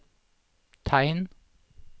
tegn